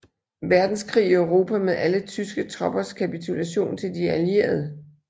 Verdenskrig i Europa med alle tyske troppers kapitulation til de Allierede